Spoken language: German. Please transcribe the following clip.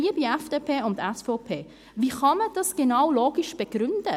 Liebe FDP und SVP, wie kann man dies logisch begründen?